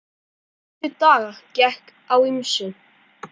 Næstu daga gekk á ýmsu.